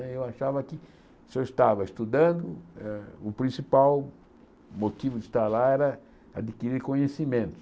Eu achava que se eu estava estudando, eh o principal motivo de estar lá era adquirir conhecimento.